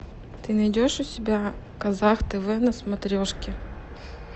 ты найдешь у себя казах тв на смотрешке